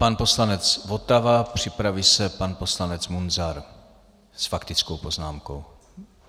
Pan poslanec Votava, připraví se pan poslanec Munzar s faktickou poznámkou.